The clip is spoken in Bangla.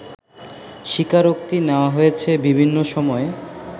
স্বীকারোক্তি নেয়া হয়েছে বিভিন্ন সময়ে